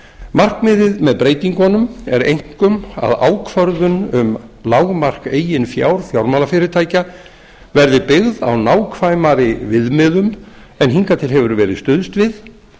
markmiðið með breytingunum er einkum að ákvörðun um lágmark eigin fjár fjármálafyrirtækja verði byggð á nákvæmari viðmiðun en hingað til hefur verið stuðst við